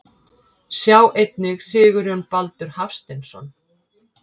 Sjá einnig Sigurjón Baldur Hafsteinsson.